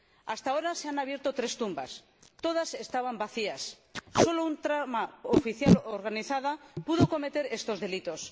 Hasta ahora se han abierto tres tumbas todas estaban vacías. Solo una trama oficial organizada pudo cometer estos delitos.